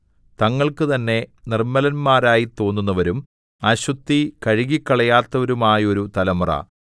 തങ്ങൾക്ക് തന്നെ നിർമ്മലരായിത്തോന്നുന്നവരും അശുദ്ധി കഴുകിക്കളയാത്തവരുമായോരു തലമുറ